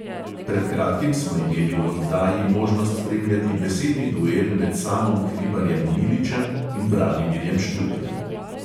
Pred kratkim smo imeli v oddaji možnost spremljati besedni duel med samom hribarjem miličem in branimirjem štrukljem.